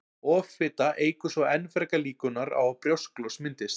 Offita eykur svo enn frekar líkurnar á að brjósklos myndist.